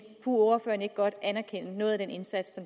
ordføreren ikke godt anerkende noget af den indsats